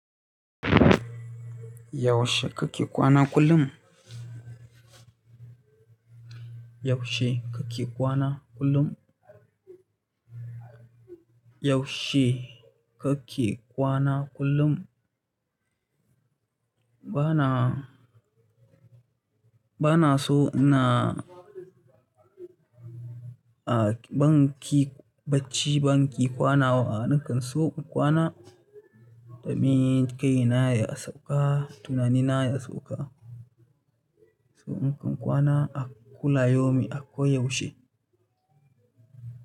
Yaushe kake kwana kullum? Yaushe kake kwana kullum? Yaushe kake kwana kullum? Bana, bana so na, a banki bacci banki kwana wa, nakan so in kwana da mun kai na ya sauka, tunani na ya sauka. So in kan kwana a kula yomi ako yaushe.